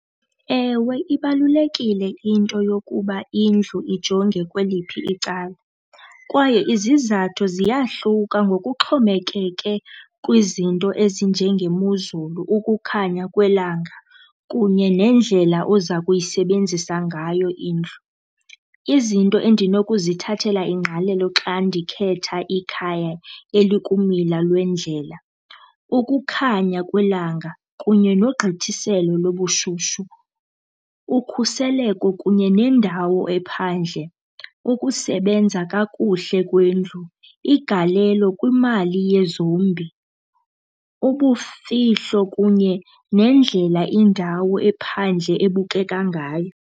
Ewe ibalulekile into yokuba indlu ijonge kweliphi icala kwaye izizathu ziyahluka ngokuxhomekeke kwizinto ezinjengemozulu, ukukhanya kwelanga kunye nendlela oza kuyisebenzisa ngayo indlu. Izinto endinokuzithathela ingqalelo xa ndikhetha ikhaya elikumila lwendlela, ukukhanya kwelanga kunye nogqithiselo lobushushu, ukhuseleko kunye nendawo ephandle, ukusebenza kakuhle kwendlu, igalelo kwimali yezombi, ubufihlo kunye nendlela indawo ephandle ebukeka ngayo.